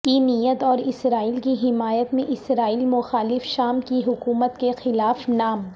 کی نیت اور اسرائیل کی حمایت میں اسرائیل مخالف شام کی حکومت کے خلاف نام